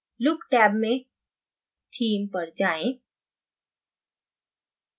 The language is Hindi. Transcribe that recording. look टैब में theme पर जाएँ